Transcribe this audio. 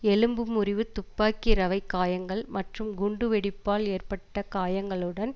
எலும்பு முறிவு துப்பாக்கி ரவை காயங்கள் மற்றும் குண்டு வெடிப்பால் எற்பட்ட காயங்களுடன்